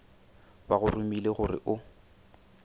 ba go romile gore o